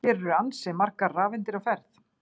Hér eru ansi margar rafeindir á ferð!